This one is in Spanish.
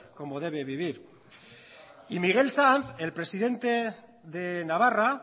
como debe vivir y miguel sanz el presidente de navarra